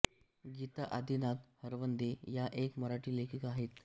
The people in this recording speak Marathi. गीता आदिनाथ हरवंदे या एक मराठी लेखिका आहेत